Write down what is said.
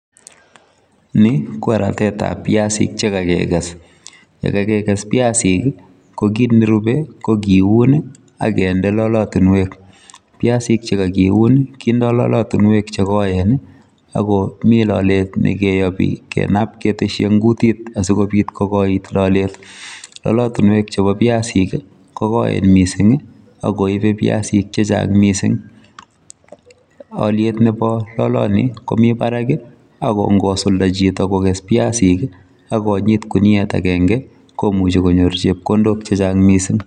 Ni ko ratetab viazik chekakekes, ye kakekes viazik ko kit nerubei ko kiun ak kinde lolotunwek. Viasik che kakiun kindoi lolotunwek che koen mi lolet ne kiyobi kenab keteshi eng kutit asi kobit kokoit lolet. Lolotunwek chebo viazi ko koen missing ako koibei viazik chechang missing. Olyet nebo loloni komi barak ako kosulda choto kokes viazik ak konyit kuniet agenge komuchi konyor chepkondok che chang missing.